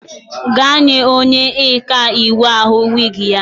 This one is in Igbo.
Gaa nye onye ọkaiwu ahụ wiigi ya!